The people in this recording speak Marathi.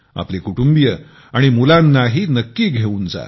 आपले कुटुंबीय आणि मुलानाही घेऊन जा